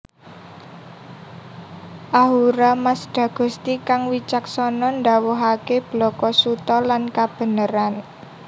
Ahura Mazda Gusti kang wicaksana ndhawuhaké blaka suta lan kabeneran